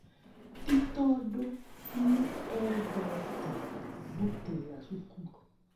Ti tondũ nĩ eendete gũtĩĩra cukuru.